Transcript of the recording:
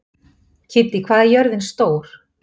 Kiddý, hvað er jörðin stór?